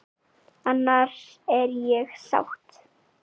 Annars er ég sátt!